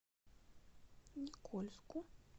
никольску